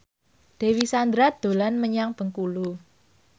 Dewi Sandra dolan menyang Bengkulu